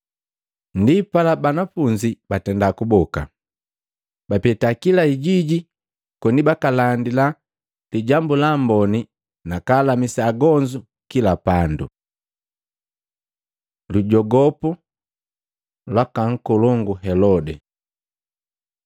Ndipala, banafunzi batenda kuboka, bapeta kila hijiji koni bakaalandila bandu Lijambu la Amboni nakalamisa agonzu kila pandu. Lujogopu lwaka nkolongu Helode Matei 14:1-12; Maluko 6:14-29